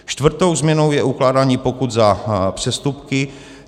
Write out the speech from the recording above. Čtvrtou změnou je ukládání pokut za přestupky.